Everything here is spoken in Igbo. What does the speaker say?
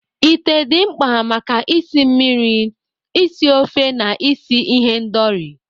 Ite dị mkpa maka isi mmiri, isi ofe, na isi ihendori.